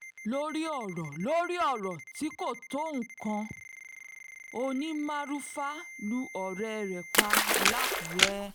lórí ọ̀rọ̀ lórí ọ̀rọ̀ tí kò tó nǹkan oní-maruufà lu ọ̀rẹ́ ẹ̀ pa làkúrẹ́